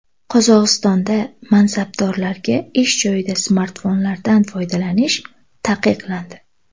Qozog‘istonda mansabdorlarga ish joyida smartfonlardan foydalanish taqiqlandi.